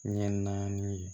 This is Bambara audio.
Ɲɛ naani